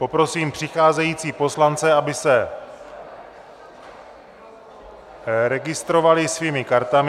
Poprosím přicházející poslance, aby se registrovali svými kartami.